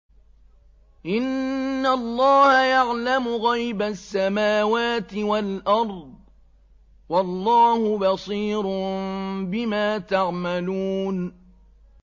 إِنَّ اللَّهَ يَعْلَمُ غَيْبَ السَّمَاوَاتِ وَالْأَرْضِ ۚ وَاللَّهُ بَصِيرٌ بِمَا تَعْمَلُونَ